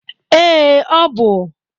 Ee, ọ bụ.